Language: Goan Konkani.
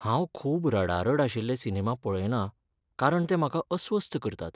हांव खूब रडारड आशिल्ले सिनेमा पळयना कारण ते म्हाका अस्वस्थ करतात.